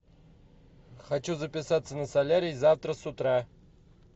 хочу записаться на солярий завтра с утра